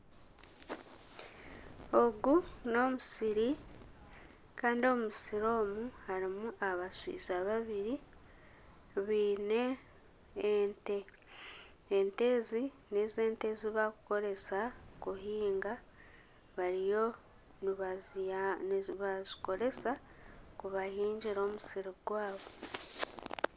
Ogu n'omusiri Kandi omu musiri omu harimu abashaija babiri baine ente ,ente ezi n'ente ezibarikukoresa kuhinga bariyo nibazikoresa kubahingira omusiri gwabo.